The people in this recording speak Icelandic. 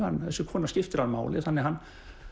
þessi kona skiptir hann máli þannig að hann